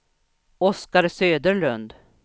Oskar Söderlund